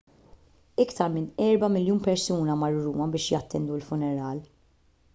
iktar minn erba' miljun persuna marru ruma biex jattendu l-funeral